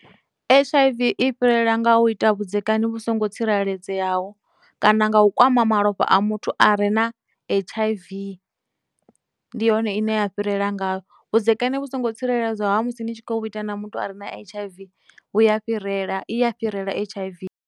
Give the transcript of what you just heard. H_I_V i fhirela nga u ita vhudzekani vhu songo tsireledzeaho, kana nga u kwama malofha a muthu a re na H_I_V ndi hone ine ya fhirela nga, vhudzekani vhu songo tsireledzeaho ha musi ni tshi khou ita na muthu a re na H_I_V vhu ya fhirela, iya fhirela H_I_V.